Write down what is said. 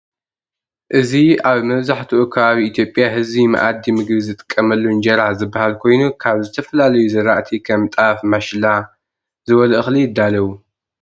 እዚ አብ መብዘሐትኡ ከባቢ ኢትዮጵያ ህዝቢ መአዲ ምግቢ ዝጥቀመሉ እንጀራ ዝበሃል ኮይኑ ካብ ዝተፈላለዩ ዝርአቲ ከም ጣፍ ማሽላ ዝበሉ እኽሊ ይዳለው።